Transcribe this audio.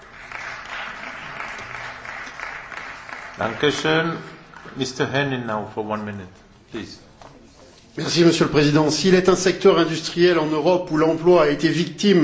Monsieur le Président, s'il est un secteur industriel en Europe où l'emploi a été victime des délocalisations sauvages, de la circulation sans entraves des capitaux, de l'euro fort, du dumping, c'est bien celui du textile.